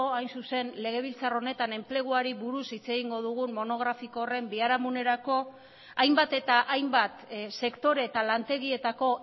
hain zuzen legebiltzar honetan enpleguari buruz hitz egingo dugun monografiko horren biharamunerako hainbat eta hainbat sektore eta lantegietako